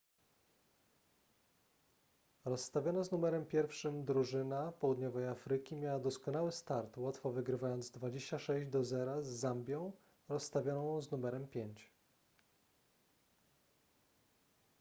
rozstawiona z numerem 1 drużyna południowej afryki miała doskonały start łatwo wygrywając 26 do zera z zambią rozstawioną z numerem 5